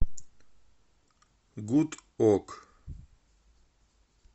гудок